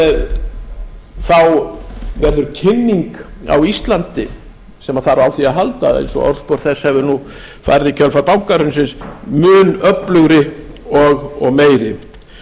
þess að þá verður kynning á íslandi sem þarf á því að halda eins og orðspor þess hefur nú farið í kjölfar bankahrunsins mun öflugri og meiri en